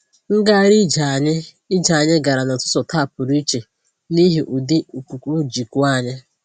Ngagharị ije anyị ije anyị gara n'ụtụtụ taa pụrụ iche n'ihi ụdị ikuku ji kuo anyị